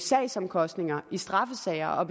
sagsomkostninger i straffesager